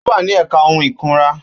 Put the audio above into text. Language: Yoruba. Ó wà ní ẹ̀ka ohun ìkunra.